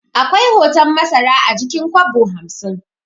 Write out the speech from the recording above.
Akwai hoton masara a jikin kwabo hamsin